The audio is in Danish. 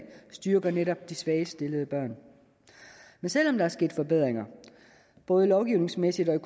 styrker netop de svagest stillede børn men selv om der er sket forbedringer både lovgivningsmæssigt og i